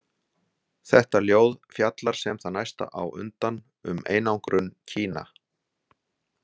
Þetta ljóð fjallar sem það næsta á undan um einangrun Kína.